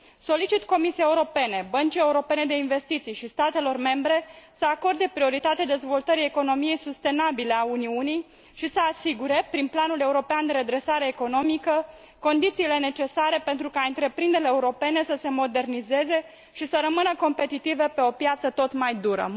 Solicit Comisiei Europene, Băncii Europene de Investiții și statelor membre să acorde prioritate dezvoltării economiei sustenabile a Uniunii și să asigure, prin planul european de redresare economică, condițiile necesare pentru ca întreprinderile europene să se modernizeze și să rămână competitive pe o piață tot mai dură.